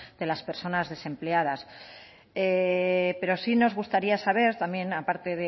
de las personas desempleadas pero sí nos gustaría saber también a parte